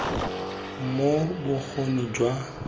moo bokgoni jwa gagwe jwa